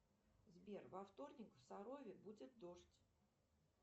сбер во вторник в сарове будет дождь